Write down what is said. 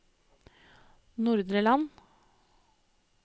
Nordre Land